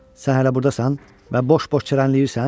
Sən hələ burdasan və boş-boş çərənləyirsən?